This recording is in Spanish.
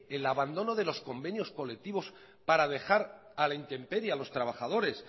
el abandono de los convenios colectivos para dejar a la intemperie a los trabajadores